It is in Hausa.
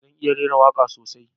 Zan iya rera waka sosai